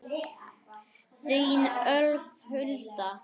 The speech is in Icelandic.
Þín, Ólöf Hulda.